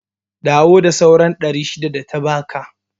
Dawo da sauran ɗari shida data baka